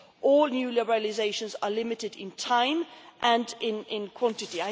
All new liberalisations are limited in time and in quantity.